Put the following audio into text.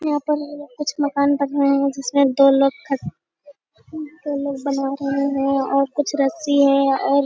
यहाँ पर कुछ मकान बने हुए हैं जिसमें दो लोग खड़े दो लोग बना रहे हैं और कुछ रस्सी है और --